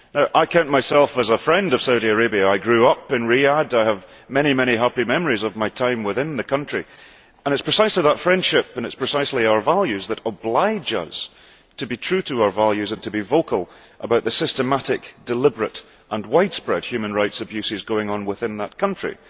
I count myself as a friend of Saudi Arabia I grew up in Riyadh, I have many happy memories of my time within the country. And it is precisely that friendship and our values that oblige us to be true to our values and to be vocal about the systematic deliberate and widespread human rights abuses going on within that country.